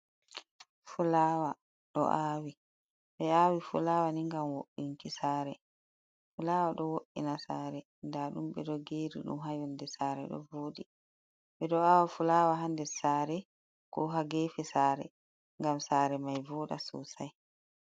Fulaawa ɗo aawi. Ɓe aawi fulaawa ni ngam wo'inki saare, fulaawa ɗo wo’ina saare, nda ɗum ɓe ɗo geeri ɗum haa yonde saare ɗo vooɗi. Ɓe ɗo aawa fulaawa haa nder saare, ko haa geefe saare ngam saare mai voɗa sosai.